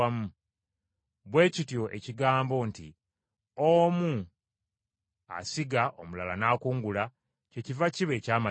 Bwe kityo ekigambo nti, ‘Omu asiga omulala n’akungula,’ kyekiva kiba eky’amazima.